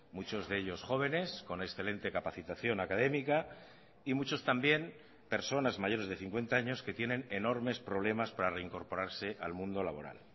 muchos de ellos jóvenes con excelente capacitación académica y muchos también personas mayores de cincuenta años que tienen enormes problemas para reincorporarse al mundo laboral